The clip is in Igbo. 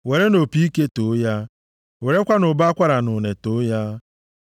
Werenụ opi ike too ya, werekwanụ ụbọ akwara na une too ya,